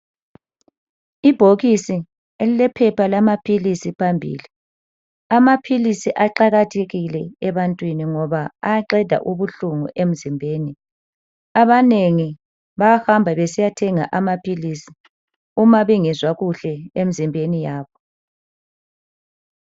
Ibhokisi elilephepha lamaphilisi phambili, amaphilisi aqakathekile ebantwini ngoba ayaqeda ubuhlungu emzimbeni. Abanengi bahamba besiya thenga amaphilisi mabengezwa kuhle emzimbeni yabo.